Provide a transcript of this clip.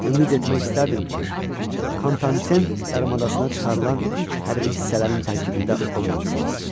Ümid etmək istərdim ki, Kontanten yarımadasına çıxarılan ilk hərbi hissələrin tərkibində olmamısınız.